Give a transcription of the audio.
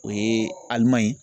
O ye Alimanɲi.